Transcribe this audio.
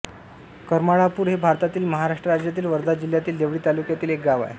करमाळापूर हे भारतातील महाराष्ट्र राज्यातील वर्धा जिल्ह्यातील देवळी तालुक्यातील एक गाव आहे